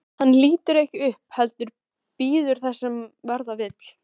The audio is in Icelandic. Hann lítur ekki upp heldur bíður þess sem verða vill.